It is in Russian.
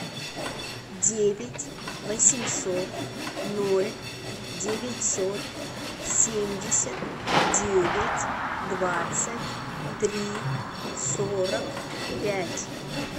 девять восемьсот ноль девятьсот семьдесят девять двадцать три сорок пять